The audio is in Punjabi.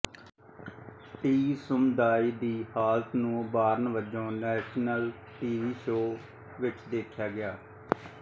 ਟੀ ਸਮੁਦਾਇ ਦੀ ਹਾਲਤ ਨੂੰ ਉਭਾਰਨ ਵਜੋਂ ਨੈਸ਼ਨਲ ਟੀ ਵੀ ਸ਼ੋਅ ਵਿੱਚ ਵੇਖਿਆ ਗਿਆ